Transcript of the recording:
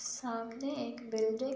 सामने एक बिल्डिंग --